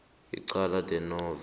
icala de novo